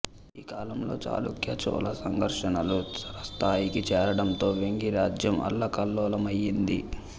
ఈ కాళంలో చాళుక్య చోళ సంఘర్షణలు తారస్థాయికి చేరడంతో వేంగి రాజ్యం అల్లకల్లోలమయ్యింది